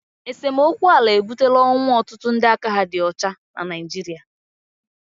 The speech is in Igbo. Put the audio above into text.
esemokwu ala ebutela ọnwụ ọtụtụ ndị aka ha dị ọcha na Naịjirịa